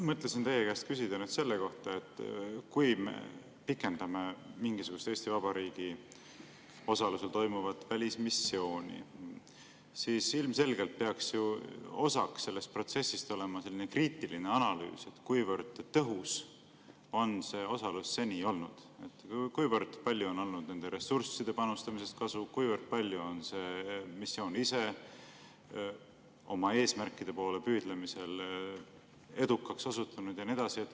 Mõtlesin teie käest küsida selle kohta, et kui me pikendame Eesti Vabariigi osalust mingisugusel välismissioonil, siis ilmselgelt peaks ju selle protsessi osaks olema kriitiline analüüs, kuivõrd tõhus on see osalus seni olnud, kui palju on olnud nende ressursside panustamisest kasu, kui palju on see missioon ise oma eesmärkide poole püüdlemisel edukaks osutunud ja nii edasi.